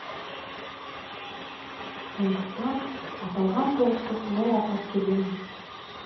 сондықтан аталған соғысты солай атап келеміз